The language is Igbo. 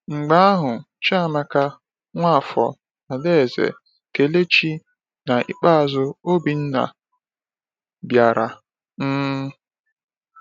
Mgbe ahụ, Chiamaka, Nwafor, Adaeze, Kelechi, na n’ikpeazụ Obinna bịara. um